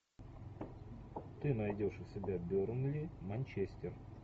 ты найдешь у себя бернли манчестер